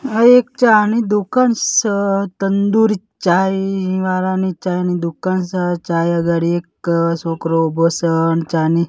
આ એક ચાની દુકાન સ તંદૂરી ચાય વાળાની ચાયની દુકાન સે ચાય અગાડી એક છોકરો ઉભો સ ચાની--